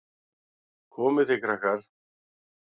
Komið þið, krakkar!